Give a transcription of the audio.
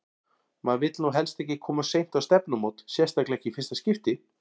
Maður vill nú helst ekki koma of seint á stefnumót, sérstaklega ekki í fyrsta skipti!